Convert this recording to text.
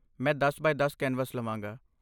ਮੈਂ ਦਸ ਬਾਏ ਦਸ ਕੈਨਵਸ ਲਵਾਂਗਾ